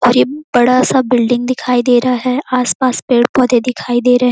और ये बड़ा सा बिल्डिंग दिखाई दे रहा है आसपास पेड़-पौधे दिखाई दे रहे--